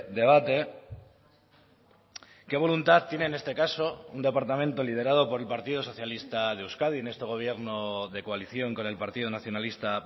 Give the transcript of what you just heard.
debate qué voluntad tiene en este caso un departamento liderado por el partido socialista de euskadi en este gobierno de coalición con el partido nacionalista